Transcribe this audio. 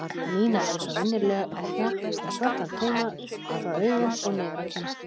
Nína var eins og venjulega með svarta tauma frá augum og niður á kinn.